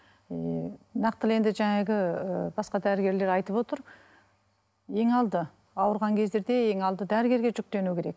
ііі нақтылы енді жаңағы басқа дәрігерлер айтып отыр ең алды ауырған кездерде ең алды дәрігерге жүктену керек